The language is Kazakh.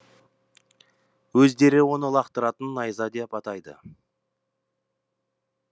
өздері оны лақтыратын найза деп атайды